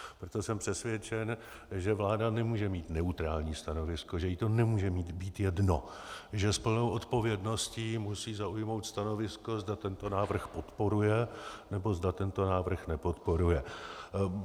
Proto jsem přesvědčen, že vláda nemůže mít neutrální stanovisko, že jí to nemůže být jedno, že s plnou odpovědností musí zaujmout stanovisko, zda tento návrh podporuje, nebo zda tento návrh nepodporuje.